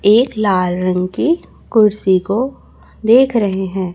एक लाल रंग की कुर्सी को देख रहे हैं।